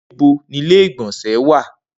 Nibo ni igbonse wa?